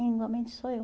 Igualmente sou eu.